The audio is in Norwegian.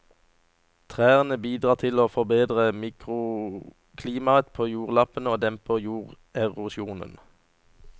Trærne bidrar til å forbedre mikroklimaet på jordlappene og demper jorderosjonen.